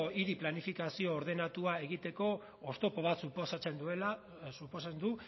hiri planifikazio ordenatua egiteko oztopo bat suposatzen du